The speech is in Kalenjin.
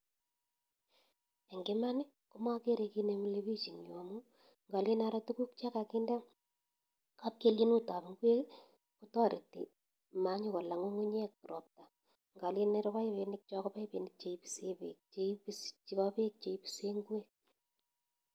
Eng iman makeree kiit nee milee bich ing nyuu ngaleen aroo tukuk chee kakinde kapkelienut ab ingwek kotaretii mankoyolaa ngungunyek ropata ngalen aroo pipinik choo ko pipinik chepo peek chee ipisee ingwek